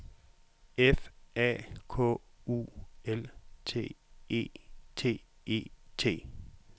F A K U L T E T E T